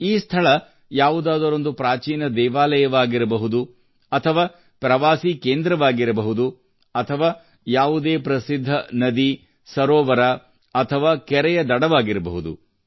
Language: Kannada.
ಈ ಸ್ಥಳ ಯಾವುದಾದರೊಂದು ಪ್ರಾಚೀನ ದೇವಾಲಯವಾಗಿರಬಹುದು ಅಥವಾ ಪ್ರವಾಸೀ ಕೇಂದ್ರವಾಗಿರಬಹುದು ಅಥವಾ ಯಾವುದೇ ಪ್ರಸಿದ್ಧ ನದಿ ಸರೋವರ ಅಥವಾ ಕೆರೆಯ ದಡವಾಗಿರಬಹುದು